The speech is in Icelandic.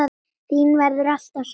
Þín verður alltaf saknað.